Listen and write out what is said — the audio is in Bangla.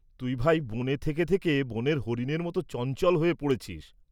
তুই, ভাই, বনে থেকে থেকে বনের হরিণের মত চঞ্চল হয়ে পোড়েছিস্‌।